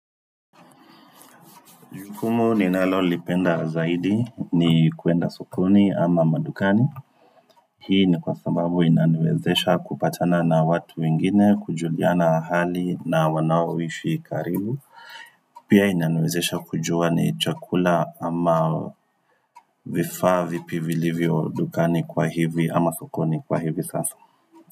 Jukumu ninalolipenda zaidi ni kuenda sokoni ama madukani. Hii ni kwa sababu inaniwezesha kupatana na watu wengine kujuliana hali na wanaoishi karibu. Pia inaniwezesha kujua ni chakula ama vifaa vipi vilivyo dukani kwa hivi ama sokoni kwa hivi sasa.